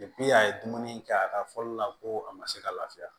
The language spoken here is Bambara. a ye dumuni kɛ a ka fɔli la ko a ma se ka lafiya